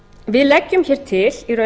við leggjum hér til